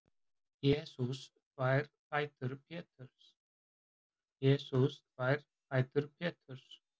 Jesús þvær fætur Péturs.